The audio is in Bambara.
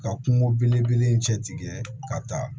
Ka kungo belebele in cɛ tigɛ ka taa